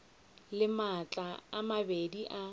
le matlakala a mabedi a